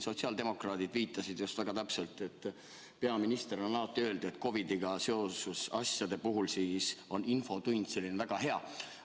Sotsiaaldemokraadid viitasid väga täpselt, et peaminister on alati öelnud, et COVID-iga seotud asjade arutamiseks on infotund väga hea.